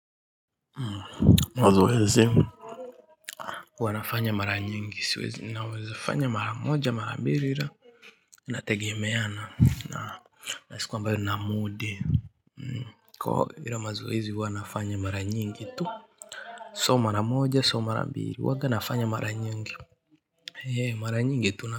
Mazoezi huwa nafanya mara nyingi, siwezi, naweza kufanya mara moja, mara mbili, na itegemeana na siku ambayo nina mood. Kwa hiyo mazoezi huwa nafanya mara nyingi, ama mara moja, ama mara mbili. Huwa nafanya mara nyingi, hee, mara nyingi tu na.